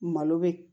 Malo bɛ